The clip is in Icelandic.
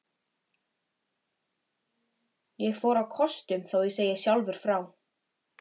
Ég fór á kostum, þó ég segi sjálfur frá.